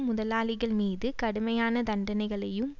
முதலாளிகள்மீது கடுமையான தண்டனைகளையும்